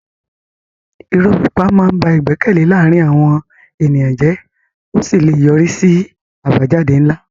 Irọ́ pípa máa ń ba ìgbẹ́kẹ̀lé láàárín àwọn ènìyàn jẹ́ ó sì lè yọrí sí àbájáde ńlá.